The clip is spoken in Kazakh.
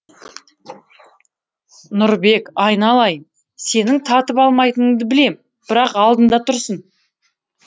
нұрбек айналайын сенің татып алмайтыныңды білем бірақ алдыңда тұрсын